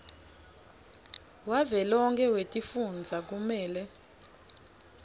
wavelonkhe wetifundza umele